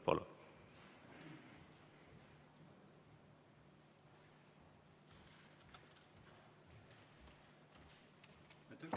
Palun!